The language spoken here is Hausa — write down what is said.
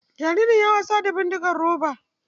Jaririn ya yi wasa da bindigar roba.